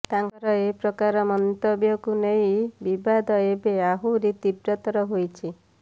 ତାଙ୍କର ଏପ୍ରକାର ମନ୍ତବ୍ୟକୁ ନେଇ ବିବାଦ ଏବେ ଆହୁରି ତୀବ୍ରତ୍ରର ହୋଇଛି